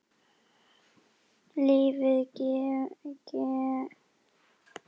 Lífið kemur sífellt á óvart.